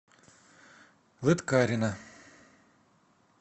лыткарино